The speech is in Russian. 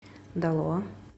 далоа